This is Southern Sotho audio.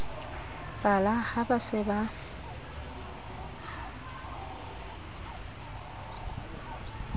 pala ha ba se ba